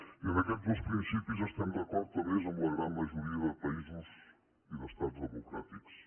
i en aquests dos principis estem d’acord a més amb la gran majoria de països i d’estats democràtics